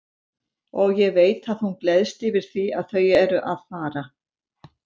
Og ég veit að hún gleðst yfir því að þau eru að fara.